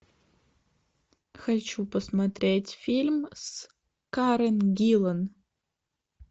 хочу посмотреть фильм с карен гиллан